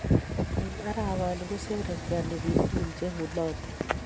Eng arawani kosherekeani biik tugun che ng'ulotei.